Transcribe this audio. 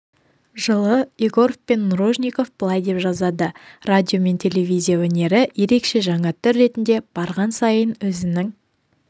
жылы егоров пен нружников былай деп жазады радио мен телевизия өнері ерекше жаңа түр ретінде барған сайын өзінің